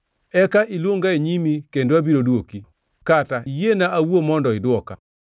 Eka iluonga e nyimi kendo abiro dwoki, kata iyiena awuo mondo idwoka.